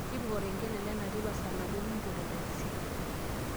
tipika olkengele lena teipa saa tomon oobo nipot e ntaksii